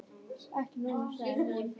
"""Ekki núna, sagði hún."""